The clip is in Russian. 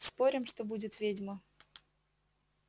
спорим что будет ведьма